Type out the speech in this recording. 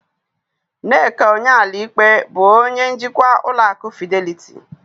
Nneka Onyeali-Ikpe bụ onye njikwa ụlọ akụ Fideliti